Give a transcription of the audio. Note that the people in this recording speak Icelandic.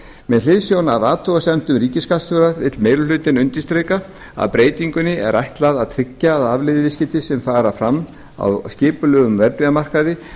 með hliðsjón af athugasemdum ríkisskattstjóra vill meiri hlutinn undirstrika að breytingunni er ætlað að tryggja að afleiðuviðskipti sem fram fara á skipulegum verðbréfamarkaði